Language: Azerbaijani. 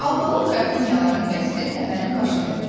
Albalı qrafinyaların qəsri təpənin başındaydı.